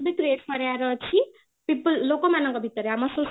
create କରିବାର ଅଛି people ଲୋକ ମାନଙ୍କ ଭିତରେ ଆମ society